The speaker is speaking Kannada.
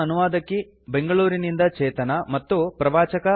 ಇದರ ಅನುವಾದಕಿ ಬೆಂಗಳೂರಿನಿಂದ ಚೇತನಾ ಹಾಗೂ ಪ್ರವಾಚಕ ಐ